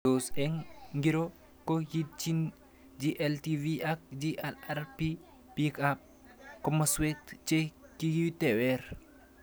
Tos eng' or ng'iro ko kiitchini GLTV ak GLRRP pik ab komaswek che kikitewer